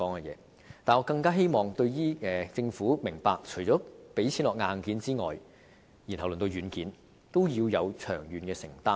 可是，我更希望政府明白，除了撥款發展硬件外，對軟件也要有長遠的承擔。